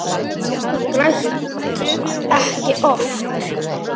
Ég græt ekki oft.